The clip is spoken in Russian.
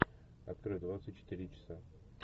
открой двадцать четыре часа